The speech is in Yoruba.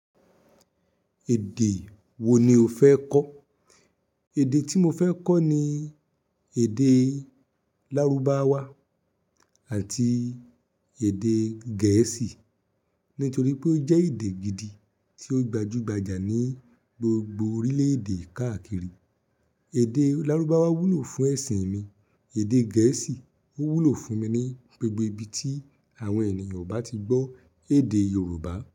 Èdè wo ni o fẹ́ kọ́? Èdè tí mo fẹ́ kọ́ ni èdè Lárúbáwá àti èdè Gẹ̀ẹ́sì, nítorí pé ó jẹ́ èdè gidi tí ó gbajúgbajà ní gbogbo orílẹ̀-èdè káàkiri. Èdè Lárúbáwá wúlò fún ẹ̀sìn mi, èdè Gẹ̀ẹ́sì ó wúlò fún mi ní gbogbo ibi tí àwọn ènìyàn ò bá ti gbọ́ èdè Yorùbá.